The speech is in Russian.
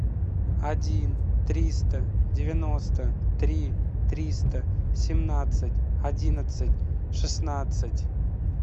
один триста девяносто три триста семнадцать одиннадцать шестнадцать